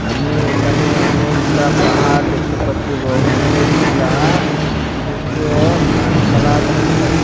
আমি একানে অনেকগুলা পাহাড় দেখতে পাচ্ছি এবং অনেকগুলা সুটো সুটো গাসপালা দেখতে পাচ্ছি।